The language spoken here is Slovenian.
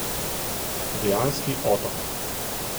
Dejanski otok!